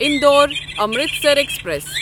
Indore Amritsar express